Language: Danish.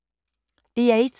DR1